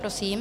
Prosím.